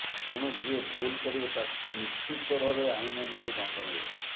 ତେଣୁ ଯିଏ ଭୁଲ କରିବ ତାଙ୍କୁ ନିଶ୍ଚିତ ଭାବେ ଆଇନ ଅନୁଯାୟୀ ଦଣ୍ଡ ମିଳିବ